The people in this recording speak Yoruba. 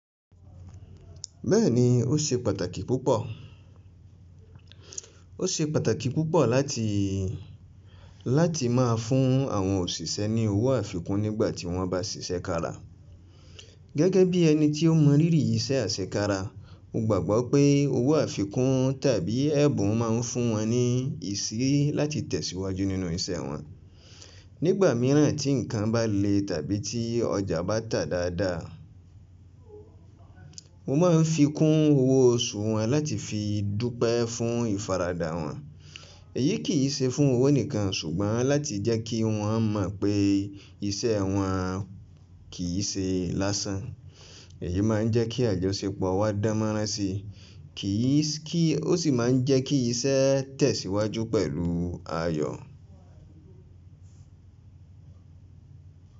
Bẹ́ẹ̀ni, ó ṣe pàtàkì púpọ̀. Ó ṣe pàtàkì púpọ̀ láti, láti má a fún àwọn òṣìṣẹ́ ní owó àfikún nígbà tí wọ́n bá ṣiṣẹ́ kára. Gẹ́gẹ́ bí ẹni tí ó mọ rírì iṣẹ́ àṣẹ kára, mo gbàgbọ́ pé owó àfikún tàbí ẹ̀bùn má a ń fún wọn ní ìsìrí láti tẹ̀síwájú nínú iṣẹ́ wọn. Nígbà mìíràn tí nǹkan bá le tàbí tí ọjà bá tà dáadáa, mo má ń fi kún owó oṣù wọn láti fi dúpẹ́ fún ìfaradà wọ́n. Èyí kì í ṣe fún owó nìkan ṣùgbọ́n láti jẹ́ kí wọ́n mọ̀ pé iṣẹ́ wọn kì í ṣe lásán. Èyí má ń jẹ́ kí àjọṣepọ̀ wa dánmọ́ránsi, kì í sì kí ó sì má ń jẹ́ kí iṣẹ́ tẹ̀síwájú pẹ̀lú ayọ̀.